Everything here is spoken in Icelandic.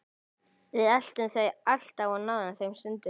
Við eltum þau alltaf og náðum þeim stundum.